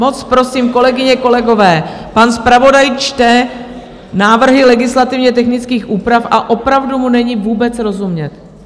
Moc prosím, kolegyně, kolegové, pan zpravodaj čte návrhy legislativně technických úprav a opravdu mu není vůbec rozumět.